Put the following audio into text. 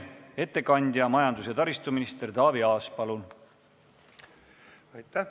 Ettekandja majandus- ja taristuminister Taavi Aas, palun!